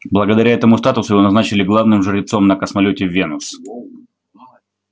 благодаря этому статусу его назначили главным жрецом на космолёте венус